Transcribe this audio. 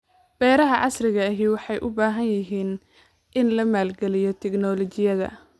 Beeraha casriga ahi waxay u baahan yihiin in la maalgeliyo tignoolajiyada.